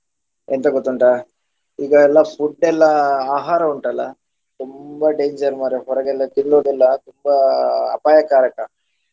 ಎಂತ ಗೊತ್ತುಂಟಾ ಈಗ ಎಲ್ಲಾ food ಎಲ್ಲಾ ಆಹಾರ ಉಂಟಲ್ಲ ತುಂಬಾ danger ಮಾರ್ರೆ ಹೊರಗೆಲ್ಲ ತಿನ್ನುವುದೆಲ್ಲಾ ತುಂಬಾ ಅಪಾಯಕಾರಕ.